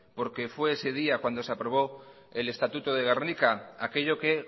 porque fue ese día cuando se aprobó el estatuto de gernika aquello que